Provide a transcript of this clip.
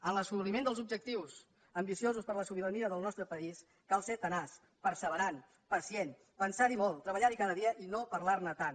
en l’assoliment dels objectius ambiciosos per a la sobirania del nostre país cal ser tenaç perseverant pacient pensar hi molt treballar hi cada dia i no parlar ne tant